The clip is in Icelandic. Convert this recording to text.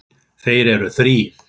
Þeir eru þrír